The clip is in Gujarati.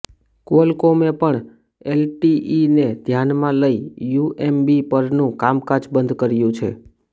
ક્વોલ્કોમે પણ એલટીઇને ધ્યાનમાં લઇ યુએમબી પરનું કામકાજ બંધ કર્યું છે